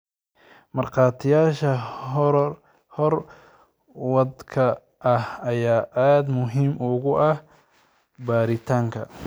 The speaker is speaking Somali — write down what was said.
Markhaatiyaasha hoor wadka ah ayaa aad muhiim ugu ah baaritaanka.